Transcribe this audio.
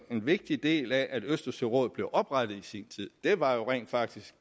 vigtig del af at østersørådet blev oprettet i sin tid var jo rent faktisk